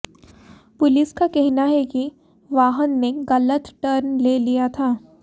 police का कहना है कि वाहन ने गलत टर्न ले लिया था